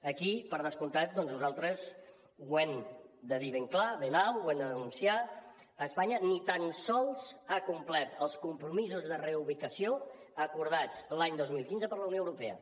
aquí per descomptat doncs nosaltres ho hem de dir ben clar ben alt ho hem de denunciar espanya ni tan sols ha complert els compromisos de reubicació acordats l’any dos mil quinze per la unió europea